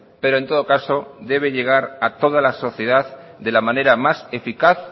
pero en todo caso debe llegar a todas la sociedad de la manera más eficaz